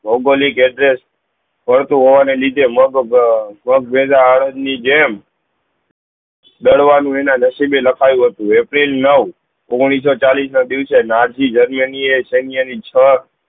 addresses પણ તે હોવાના લીધે મગ મગ ના અડગ ની જેમ ડરવા મહિના દ્સ્વી લખાયું હતું અપ્રિલ નવ ઓઘ્નીશ સૌ ચાલીસ ના દિવસે નારજી જર્મની એ સેન્ય એ છ